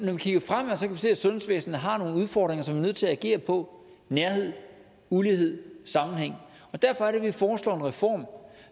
se at sundhedsvæsenet har nogle udfordringer som nødt til at agere på nærhed ulighed sammenhæng derfor er det vi foreslår en reform